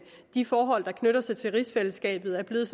de forhold der knytter sig til rigsfællesskabet er blevet